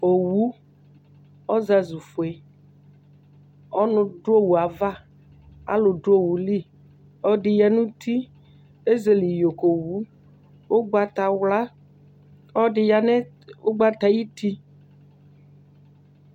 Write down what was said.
Owu, ɔzazʋfue, ɔnʋ dʋ owu ava, alʋ dʋ owu li, ɔlɔdɩ ya nʋ uti, ezele iyo ka owu, ʋgbatawla kʋ ɔlɔdɩ ya nʋ ʋgbata yɛ ayuti